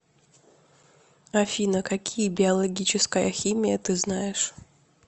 афина какие биологическая химия ты знаешь